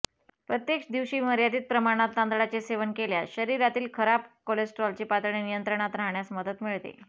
प्रत्येक दिवशी मर्यादित प्रमाणात तांदळाचे सेवन केल्यास शरीरातील खराब कोलेस्ट्रॉलची पातळी नियंत्रणात राहण्यास मदत मिळते